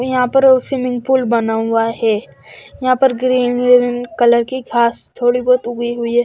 यहा पर वो स्विमिंग पुल बना हुआ है यहा पर ग्रीन ग्रीन कलर की घास थोड़ी बोत उगी हुई है।